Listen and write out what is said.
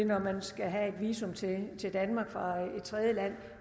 når man skal have visum til danmark fra et tredjeland